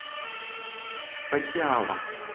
патиала